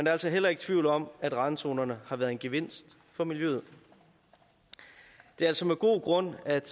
er altså heller ikke tvivl om at randzonerne har været en gevinst for miljøet det er altså med god grund at